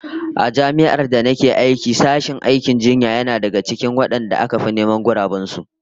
A Jami'ar da nake aiki sashen aikin jinya yana daga cikin wadanda aka fi neman guraben su